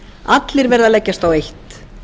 allir verða að leggjast á eitt